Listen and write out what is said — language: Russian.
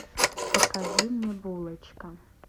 покажи мне булочка